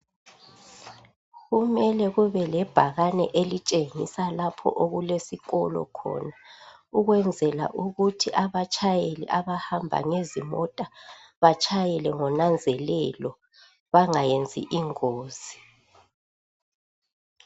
kumele kube lebhakane elitshengisela lapho okulesikolo khona ukwenzela ukuthi abatshayeli abahamba ngezimota batshayele ngenanzelelo bangayenzi ingozi